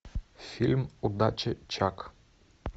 фильм удачи чак